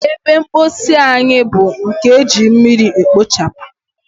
Ebe mposi anyi bu nkem eji mmiri ekpochabu.